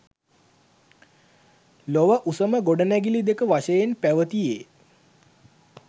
ලොව උසම ගොඩනැඟිලි දෙක වශයෙන් පැවතියේ